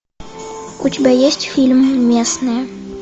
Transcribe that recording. у тебя есть фильм местные